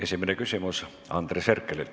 Esimene küsimus Andres Herkelilt.